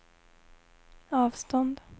avstånd